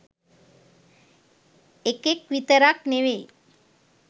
එකෙක් විතරක් නෙවෙයි